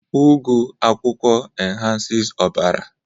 ugu akwukwo enhances ọbara